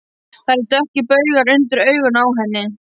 Það eru dökkir baugar undir augunum á henni.